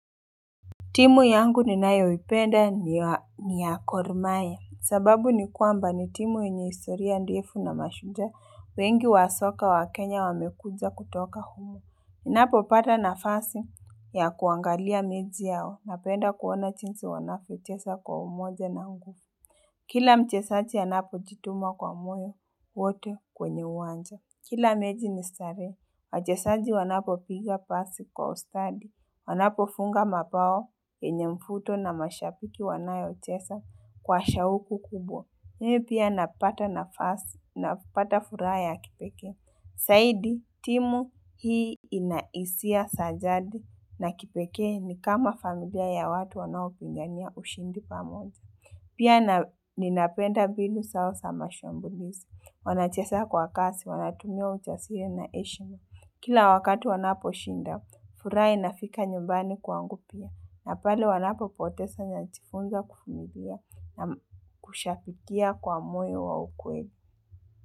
Timu yangu ninayoipenda ni ya Gor mahia. Sababu ni kwamba ni timu enye historia ndefu na mashujaa wengi wa soka wa Kenya wamekuja kutoka humo. Ninapo pata na fasi ya kuangalia meji yao na penda kuona chinsi wanavyochesa kwa umoja na ngu. Kila mchesaji anapo jituma kwa moyo wote kwenye uwanja. Kila meji ni stare. Wachesaji wanapo piga pasi kwa ustadi. Wanapo funga mapao, yenye mfuto na mashapiki wanayo chesa kwa shauku kubwa. Mi pia napata na fasi, napata furaha ya kipeke. Saidi, timu hii inaisia sajadi na kipeke ni kama familia ya watu wanao pingania ushindi pa moja. Pia ninapenda binu sao sa ma shambulisi. Wanachesa kwa kasi, wanatumia uchasiri na eshima. Kila wakati wanapo shinda, furaha inafika nyumbani kwangupia. Na pale wanapo potesa najifunza kufumilia na kushabikia kwa moyo wa ukweli.